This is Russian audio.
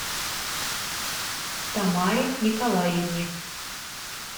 тамаре николаевне